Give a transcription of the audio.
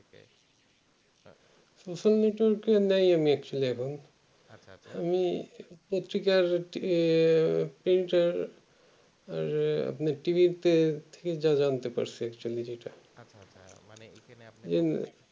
social network নেই আমি actually এখন আমি পত্রিকাতে আহ আপনার